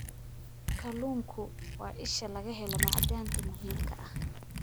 Kalluunku waa isha laga helo macdanta muhiimka ah.